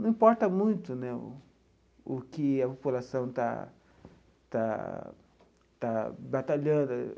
Não importa muito né o que a população está está está batalhando.